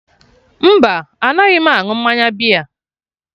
Mba, anaghị m aṅụ mmanya bịa